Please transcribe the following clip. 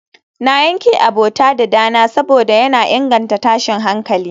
na yanke abota da dana saboda yana inganta tashin hankali